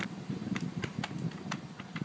Eruð þið rúin trausti?